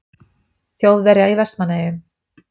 Þjóðverja í Vestmannaeyjum.